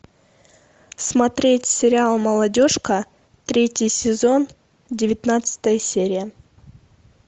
смотреть сериал молодежка третий сезон девятнадцатая серия